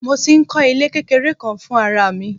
Mo tí ń kó ilé kékeré kan fún ara mi.